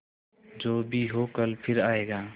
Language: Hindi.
जो भी हो कल फिर आएगा